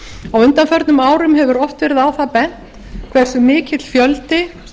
á undanförnum árum hefur oft verið á það bent hversu mikill fjöldi